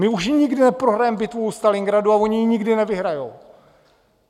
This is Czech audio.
My už nikdy neprohrajeme bitvu u Stalingradu a oni nikdy nevyhrajou.